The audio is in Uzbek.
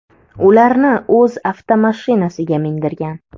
ularni o‘z avtomashinasiga mindirgan.